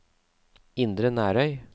Indre Nærøy